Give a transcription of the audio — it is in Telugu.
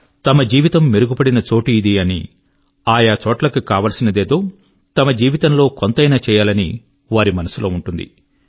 తమ జీవితం మెరుగు పడిన చోటు ఇది అని ఆయా చోట్లకు కావలసినదేదో తమ జీవితం లో కొంతైనా చేయాలని వారి మనసు లో ఉంటుంది